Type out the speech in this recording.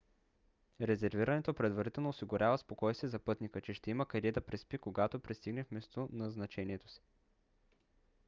резервирането предварително осигурява спокойствие за пътника че ще има къде да преспи когато пристигне в местоназначението си